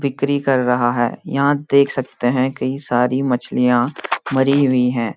बिक्री कर रहा है यहाँ देख सकते हैं कई सारी मछलियाँ मरी हुई हैं।